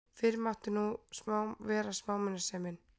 Fyrr mátti nú vera smámunasemin!